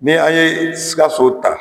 Ni' an ye sikaso ta